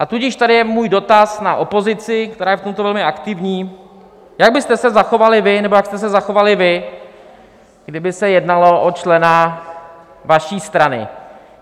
A tudíž tady je můj dotaz na opozici, která je v tomto velmi aktivní - jak byste se zachovali vy, nebo jak jste se zachovali vy, kdyby se jednalo o člena vaší strany?